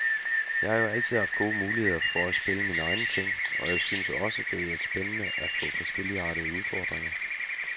Jeg har jo altid haft gode muligheder for også at spille mine egne ting, og jeg synes også det er spændende at få forskelligartede udfordringer.